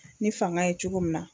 Ni fanga ye cogo min na.